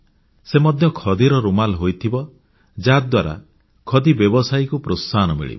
ସେ ମଧ୍ୟ ଖଦିର ରୁମାଲ ହୋଇଥିବ ଯାହାଦ୍ୱାରା ଖଦି ବ୍ୟବସାୟକୁ ପ୍ରୋତ୍ସାହନ ମିଳିବ